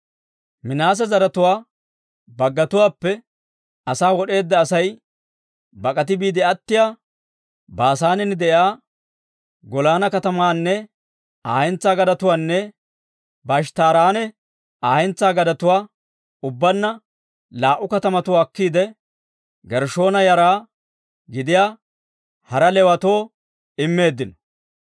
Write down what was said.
Minaase zaratuwaa baggatuwaappe asaa wod'eedda Asay bak'ati biide attiyaa, Baasaanen de'iyaa Golaana katamaanne Aa hentsaa gadetuwaanne Ba'eshttaaranne Aa hentsaa gadetuwaa, ubbaanna laa"u katamatuwaa akkiide, Gershshoona yara gidiyaa hara Leewatoo immeeddino.